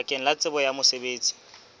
bakeng la tsebo ya mosebetsi